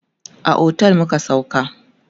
a otel muka sauka